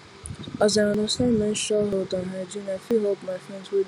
as i understand menstrual health and hygiene i fit help my friend wey dey struggle wellwell